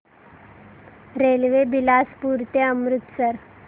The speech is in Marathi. रेल्वे बिलासपुर ते अमृतसर